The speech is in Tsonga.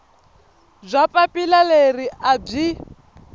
bya papila leri a byi